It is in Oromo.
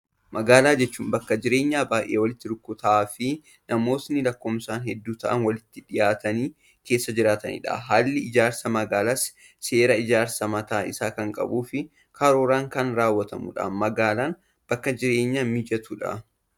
Magaalaa jechuun bakka jireenyaa baayyee walitti rukkataa fi namootni lakkoofsaan hedduu ta'an walitti dhihaatanii keessa jiraatanidha. Haalli ijaarsa magaalaas seera ijaarsaa mataa isaa kan qabuu fi karooraan kan raawwatamudha. Magaalaan bakka jireenyaaf mijattuudha.